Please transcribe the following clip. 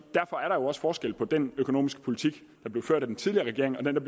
også forskel på den økonomiske politik der blev ført af den tidligere regering og den der